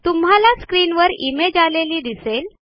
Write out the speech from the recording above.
तुम्हाला स्क्रीनवर इमेज आलेली दिसेल